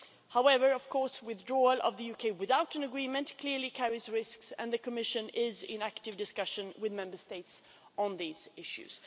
However, of course, withdrawal of the UK without an agreement clearly carries risks and the Commission is in active discussion with Member States on these issues.